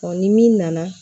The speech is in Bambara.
ni min nana